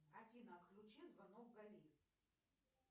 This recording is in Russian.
афина отключи звонок гали